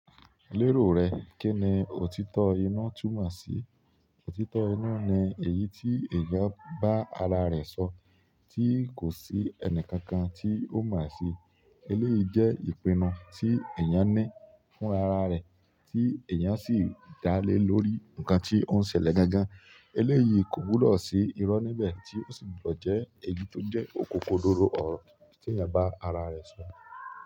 Lérò rẹ kí ni òtítọ́ inú túmọ̀ sí? Òtítọ́ inú ni èyí tí èèyàn bá ara rẹ̀ sọ, tí kò sí ẹnì kankan tí ó mọ̀ sí. Eléyìí jẹ́ ìpinnu tí èèyàn ní fún ara rẹ̀, tí èèyàn sì dá lé lórí ǹkan tí ó ń ṣẹlẹ̀ gangan. Eléyìí kò gbudo sí irọ́ níbẹ̀, tí ó sì gbudo jẹ́ èyí tó jẹ́ òkòkodòró ọ̀rọ̀ tí èèyàn bá ara rẹ̀ sọ.